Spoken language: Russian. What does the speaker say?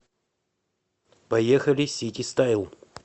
поехали ситистайл